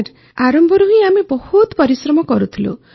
sir ଆରମ୍ଭରୁ ହିଁ ଆମେ ବହୁତ ପରିଶ୍ରମ କରୁଥିଲୁ